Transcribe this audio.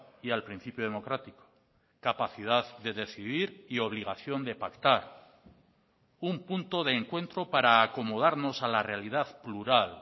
y al principio democrático capacidad de decidir y obligación de pactar un punto de encuentro para acomodarnos a la realidad plural